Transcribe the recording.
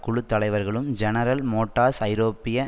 குழு தலைவர்களும் General Motors ஐரோப்பிய